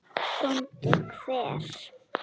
BÓNDI: Hver?